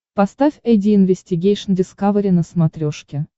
поставь айди инвестигейшн дискавери на смотрешке